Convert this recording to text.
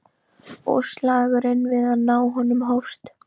Og slagurinn við að ná honum hófst.